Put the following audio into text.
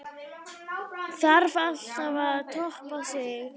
Þarf alltaf að toppa sig?